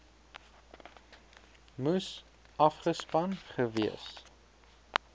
moes afgespan gewees